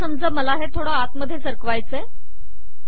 आता समजा मला हे थोडे आत सरकवायचे आहे